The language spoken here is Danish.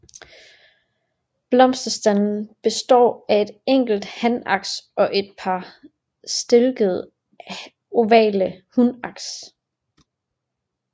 Blomsterstanden består af et enkelt hanaks og et par stilkede ovale hunaks